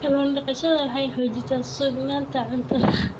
Kallun daqashada waxay xoojisaa sugnaanta cuntada.